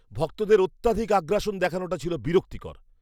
ভক্তদের অত্যধিক আগ্রাসন দেখানোটা ছিল বিরক্তিকর।